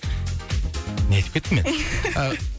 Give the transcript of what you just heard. не айтып кеттім мен